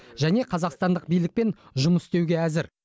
және қазақстандық билікпен жұмыс істеуге әзір